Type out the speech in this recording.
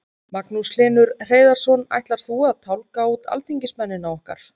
Magnús Hlynur Hreiðarsson: Ætlar þú að tálga út alþingismennina okkar?